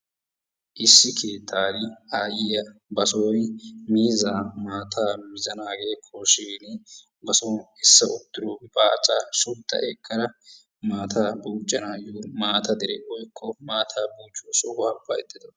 Issi keettani aayiya ba sooni miizzaa maataa mizzanaagee koshshiin ba son essa wottido baaccaa shodda ekkada maataa buuccanaayo maata dere woykko maataa buucciyo sohuwa baydda de'awusu.